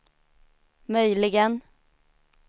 möjligen